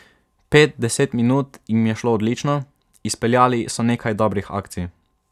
Pet, deset minut jim je šlo odlično, izpeljali so nekaj dobrih akcij.